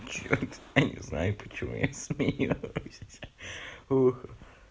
чёрт я не знаю почему я смеюсь ха-ха